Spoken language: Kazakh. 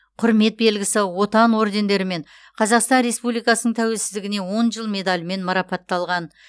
құрмет белгісі отан ордендерімен қазақстан республикасының тәуелсіздігіне он жыл медалімен марапатталған